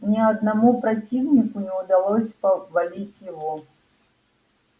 ни одному противнику не удавалось повалить его